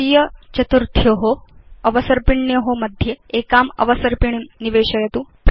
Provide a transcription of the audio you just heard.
तृतीय चतुर्थ्यो अवसर्पिण्यो मध्ये एकाम् अवसर्पिणीं निवेशयतु